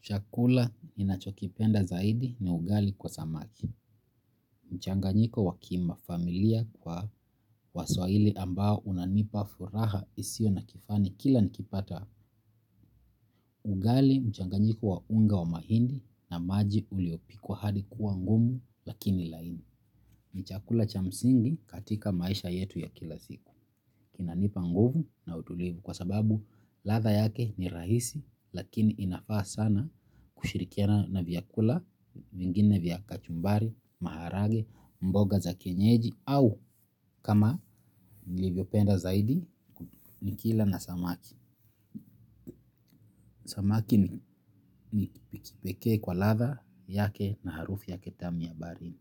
Chakula ninachokipenda zaidi ni ugali kwa samaki. Mchanganyiko wa kimafamilia kwa waswahili ambao unanipa furaha isiyo na kifani kila nikipata. Ugali, mchanganyiko wa unga wa mahindi na maji uliopikwa hadi kuwa ngumu lakini laini. Ni chakula cha msingi katika maisha yetu ya kila siku. Kinanipa nguvu na utulivu kwa sababu ladha yake ni rahisi lakini inafaa sana kushirikiana na vyakula vingine vya kachumbari, maharage, mboga za kienyeji au kama nilivyopenda zaidi nikila na samaki. Samaki nikipike kwa ladha yake na harufu yake tamu ya baharini.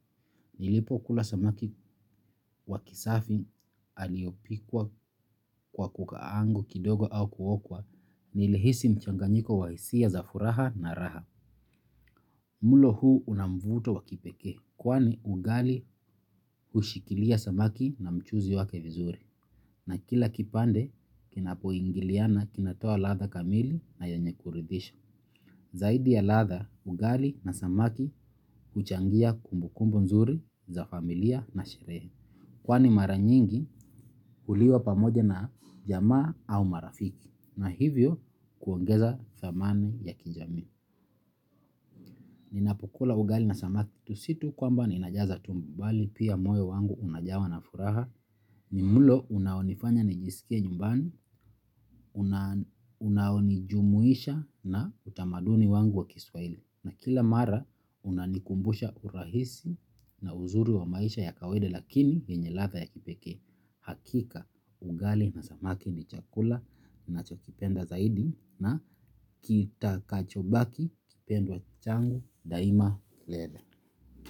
Nilipo kula samaki wa kisafi aliopikwa kwa kukaangwa kidogo au kuokwa nilihisi mchanganyiko wa hisia za furaha na raha. Mlo huu una mvuto wa kipekee kwani ugali hushikilia samaki na mchuzi wake vizuri. Na kila kipande kinapoingiliana kinatoa ladha kamili na yenye kuridhisha. Zaidi ya ladha, ugali na samaki huchangia kumbu kumbu nzuri za familia na sherehe. Kwani mara nyingi huliwa pamoja na jamaa au marafiki na hivyo, kuongeza dhamani ya kijamii. Ninapokula ugali na samaki tu si tu kwamba ninajaza tumbo bali pia moyo wangu unajawa na furaha. Ni mlo unaonifanya nijiskie nyumbani unaonijumuisha na utamaduni wangu wa kiswahili. Na kila mara unanikumbusha urahisi na uzuri wa maisha ya kawaida lakini yenye ladha ya kipekee hakika ugali na samaki ni chakula ninachokipenda zaidi na kitakachobaki kipendwa changu daima lele.